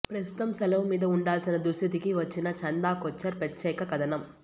ప్రస్తుతం సెలవు మీద ఉండాల్సిన దుస్థితికి వచ్చిన చందాకొచ్చర్ ప్రత్యేక కథనం